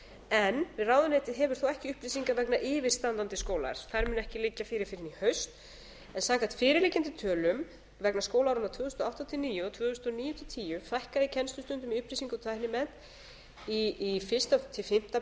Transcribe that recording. en ráðuneytið hefur þó ekki upplýsingar vegna yfirstandandi skólaárs þær munu ekki liggja fyrir fyrr en í haust en samkvæmt fyrirliggjandi tölum vegna skólaáranna tvö þúsund og átta til tvö þúsund og níu og tvö þúsund og níu til tvö þúsund og tíu fækkaði kennslustundum í upplýsinga og tæknimennt í fyrsta til fimmta